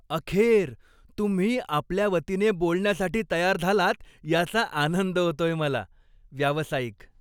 अखेर! तुम्ही आपल्या वतीने बोलण्यासाठी तयार झालात याचा आनंद होतोय मला. व्यावसायिक